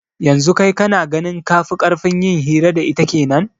Yanzu kai kana ganin kafi karfin yin hira da ita kenan